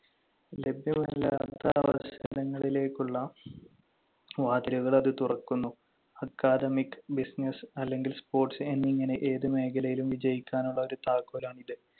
ലഭ്യമല്ലാത്ത അവസരങ്ങളിലേക്കുള്ള വാതിലുകൾ അത് തുറക്കുന്നു. Academic, business അല്ലെങ്കിൽ sports എന്നിങ്ങനെ ഏതു മേഖലയിലും വിജയിക്കാനുള്ള ഒരു താക്കോലാണിത്.